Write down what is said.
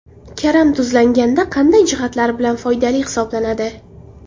Karam tuzlanganda qanday jihatlari bilan foydali hisoblanadi ?